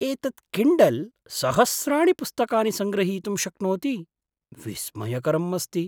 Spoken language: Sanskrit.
एतत् किण्डल् सहस्राणि पुस्तकानि सङ्ग्रहीतुं शक्नोति। विस्मयकरम् अस्ति!